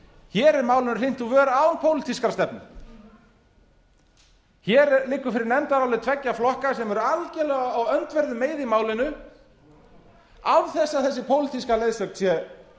hér er málinu hrint úr vör án pólitískrar stefnu hér liggur fyrir nefndarálit tveggja flokka sem eru algerlega á öndverðum meiði í málinu án þess að þessi pólitíska leiðsögn sé